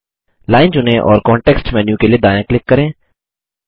line चुनें और context menu के लिए दायाँ क्लिक करें